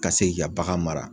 Ka se k'i ka bagan mara.